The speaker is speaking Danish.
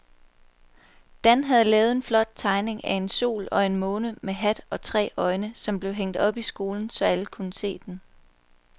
Dan havde lavet en flot tegning af en sol og en måne med hat og tre øjne, som blev hængt op i skolen, så alle kunne se den.